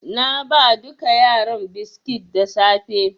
Na ba duka yaran biskit da safe.